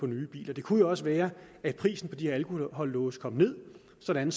nye biler det kunne jo også være at prisen på de her alkolåse kom ned sådan